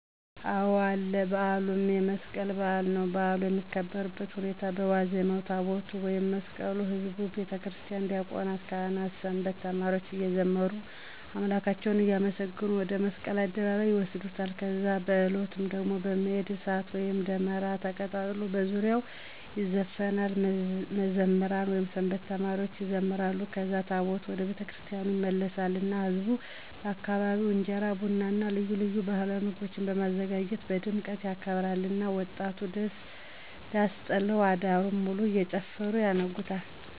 አዎ አለ በዓሉም የመስቀል በዓል ነዉ። በዓሉ የሚከበርበት ሁኔታ በዋዜማዉ ታቦታቱን ወይም መስቀሉን ህዝቡ፣ የቤተክህነት ዲያቆናት፣ ካህናቶች፣ ሰንበት ተማሪዎች እየዘመሩ አምላካቸዉን እያመሰገኑ ወደ መስቀል አደባባይ ይወስዱታል ከዛ በዕለቱም ደሞ በመሄድ፣ እሳት ወይም ደመራ ተቀጣጥሎ በዙሪያዉ ይዘፈናል፣ መዘምራን (ሰንበት ተማሪዎች) ይዘምራሉ ከዛ ታቦታቱ ወደ የቤተክርስቲያኑ ይመለሳሉ እና ህዝቡ በየአካባቢዉ እንጀራ፣ ቡና እና ልዩ ልዩ ባህላዊ ምግቦችን በማዘጋጀት በድምቀት ያከብራሉ እና ወጣቶች ዳስ ጥለዉ አዳሩን ሙሉ እየጨፈሩ ያነጉታል።